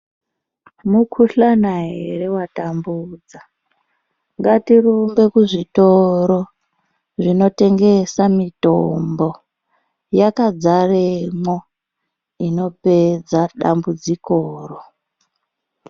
Mukhuhlana ere watambudza? Ngatirumbe kuzvitoro zvinotengesa mitombo. Yakadzaremwo inopedza dambudzikoro.